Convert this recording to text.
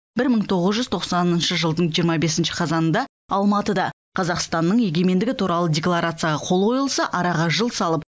бір мың тоғыз жүз тоқсаныншы жылдың жиырма бесінші қазанында алматыда қазақстанның егемендігі туралы декларацияға қол қойылса араға жыл салып